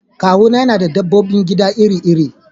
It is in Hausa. Kawuna na da dabbobin gida iri-iri.